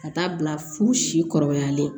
Ka taa bila fo si kɔrɔbayalen